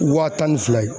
Waa tan ni fila ye